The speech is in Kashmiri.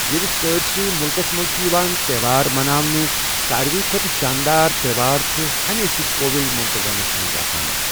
ییٚلہِ سٲرسٕے مُلکس منٛز چُھ یِوان تہوار مناونہٕ، ساروٕے کھۄتہٕ شاندار تہوار چُھ ہمیشہِ کووِل مونٹاگنس منٛز آسان۔